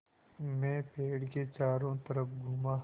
मैं पेड़ के चारों तरफ़ घूमा